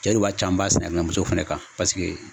Cɛ dɔw b'a ba sɛnɛ musow fɛnɛ kan paseke